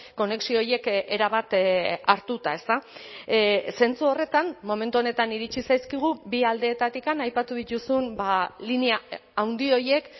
konexio horiek erabat hartuta ezta zentzu horretan momentu honetan iritsi zaizkigu bi aldeetatik aipatu dituzun linea handi horiek